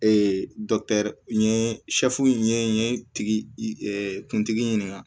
Ee n ye n ye tigi kuntigi ɲininka